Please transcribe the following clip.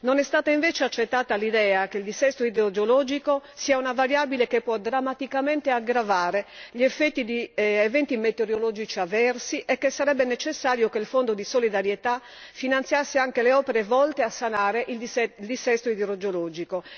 Non è stata invece accettata l'idea che il dissesto idrogeologico sia una variabile che può drammaticamente aggravare gli effetti di eventi metereologici avversi e che sarebbe necessario che il Fondo di solidarietà finanziasse anche le opere volte a sanare il dissesto idrogeologico.